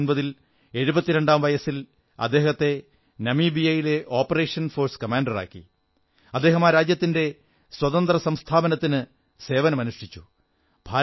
1989 ൽ എഴുപത്തിരണ്ടാം വയസ്സിൽ അദ്ദേഹത്തിനെ നമീബിയയിലെ ഓപ്പറേഷൻ ഫോഴ്സ് കമാൻഡറാക്കി അദ്ദേഹം ആ രാജ്യത്തിന്റെ സ്വാതന്ത്ര്യ സംസ്ഥാപനത്തിന് സേവനം അനുഷ്ഠിച്ചു